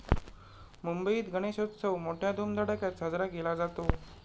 मुंबईत गणेशोत्सव मोठय़ा धुमधडाक्यात साजरा केला जातो.